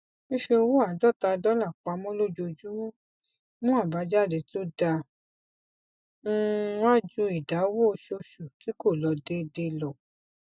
fífi owó àádọta dọlà pamọ lójojúmọ mù àbájáde to da um wa ju ìdáwó oṣooṣù tí kò lọ déédéé lọ